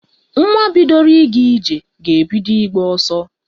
Nwa bidoro ịga ije ga-ebido ịgba ọsọ.